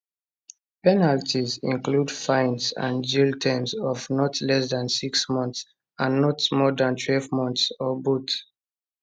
penalties include fines and jail terms of not less than six months and not more dan twelve months or both